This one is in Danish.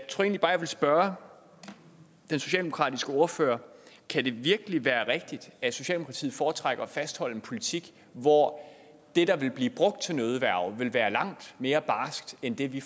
vil spørge den socialdemokratiske ordfører kan det virkelig være rigtigt at socialdemokratiet foretrækker at fastholde en politik hvor det der vil blive brugt til nødværge vil være langt mere barskt end det vi